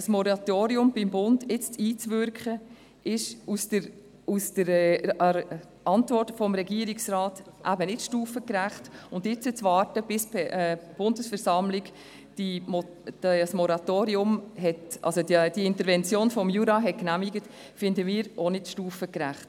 Beim Bund auf ein Moratorium hinzuwirken, ist gemäss der Antwort des Regierungsrates eben nicht stufengerecht, und jetzt zu warten, bis die Bundesversammlung die Intervention des Kantons Jura genehmigt hat, finden wir auch nicht stufengerecht.